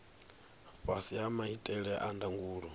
fhasi ha maitele a ndangulo